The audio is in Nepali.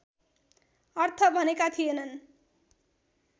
अर्थ भनेका थिएनन्